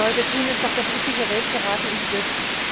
Was wir heute tun, ist doch das übliche Rätselraten um SWIFT.